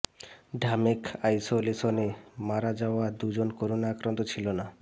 ঢামেক আইসোলেশনে মারা যাওয়া দুজন করোনা আক্রান্ত ছিল না